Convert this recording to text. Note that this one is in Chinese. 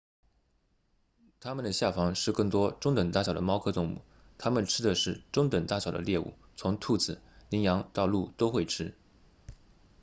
它们的下方是更多中等大小的猫科动物它们吃的是中等大小的猎物从兔子羚羊到鹿都会吃